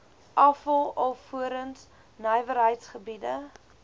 afval alvorens nywerheidsgebiede